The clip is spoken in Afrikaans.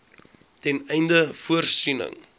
ten einde voorsiening